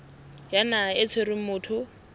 ya naha e tshwereng motho